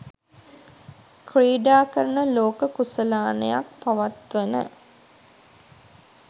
ක්‍රීඩා කරන ලෝක කුසලානයක් පවත්වන